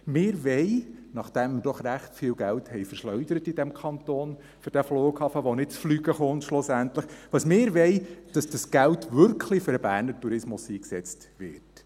» Nachdem wir in diesem Kanton Bern für diesen Flughafen, welcher schlussendlich nicht zum Fliegen kommt, recht viel Geld verschleudert haben, wollen wir, dass das Geld wirklich für den Berner Tourismus eingesetzt wird.